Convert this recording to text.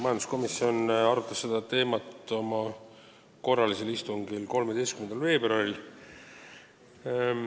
Majanduskomisjon arutas seda teemat oma korralisel istungil 13. veebruaril.